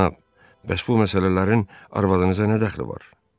Cənab, bəs bu məsələlərin arvadınıza nə dəxli var?